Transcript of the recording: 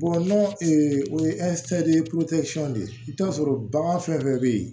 o ye ye de i bɛ taa sɔrɔ bagan fɛn fɛn bɛ yen